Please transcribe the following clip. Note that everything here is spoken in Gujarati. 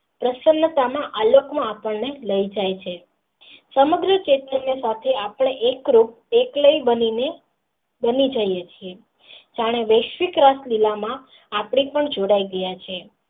પ્રસન્નતા માં આ લોક ની આપણે લઈ જાય છે સમગ્ર આપણે એક્લી બની ને બની જઇયે છીએ જાણે વૈસ્વિક ગાંઠ મૂલા માં આપણે પણ જોડાય ગયા છીએ.